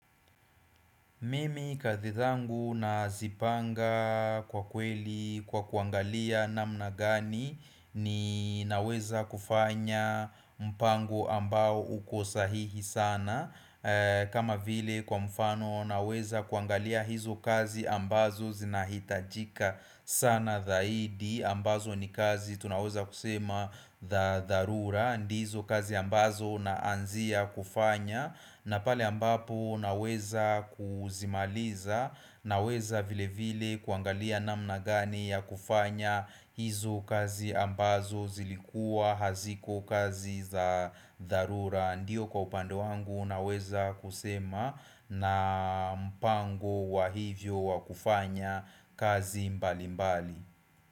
Mimi kazi zangu nazipanga kwa kweli kwa kuangalia namna gani ninaweza kufanya mpango ambao uko sahihi sana kama vile kwa mfano naweza kuangalia hizo kazi ambazo zinahitajika sana zaidi ambazo ni kazi tunawaza kusema za dharura ndizo kazi ambazo naanzia kufanya na pale ambapo naweza kuzimaliza naweza vile vile kuangalia namna gani ya kufanya hizo kazi ambazo zilikuwa haziko kazi za dharura Ndiyo kwa upande wangu naweza kusema na mpango wa hivyo wa kufanya kazi mbali mbali.